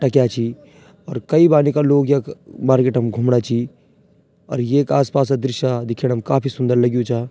टक्या छी और कई बाड़ी का लोग यख मार्किट म घुमणा छी और येक आस पास क दृश्य दिखेणम काफी सुन्दर लग्युं चा।